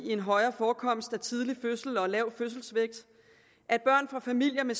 en højere forekomst af for tidlig fødsel og lav fødselsvægt at børn fra familier med